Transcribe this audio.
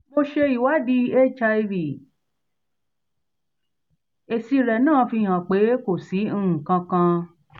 mo ṣe ìwádìí hiv èsì rẹ̀ náà fi hàn pé kò si nkankan